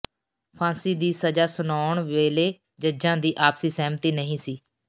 ਫਾਂਸੀ ਦੀ ਸਜ਼ਾ ਸੁਨਾਉਣ ਵੇਲੇ ਜੱਜਾਂ ਦੀ ਆਪਸੀ ਸਹਿਮਤੀ ਨਹੀਂ ਸੀ